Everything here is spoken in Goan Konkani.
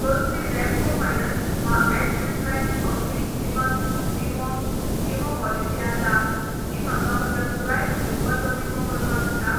कसली रेपको फायनान्स वा ऍक्सिस बॅंक अवधी जीवन विमो विमो पॉलिसी आसा जी म्हाका म्हज्या पुराय कुटुंबाचो विमो करपाक दिता?